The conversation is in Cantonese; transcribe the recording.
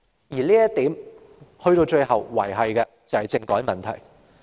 就這一點，到最後仍然連繫到政改問題。